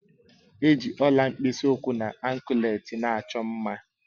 Eji Ọla mkpisi ụkwụ na ankleti na-achọ mma